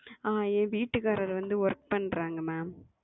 ஆஹ் என் வீட்டுகாரர் வந்து Work பண்றாரங்க Ma'am.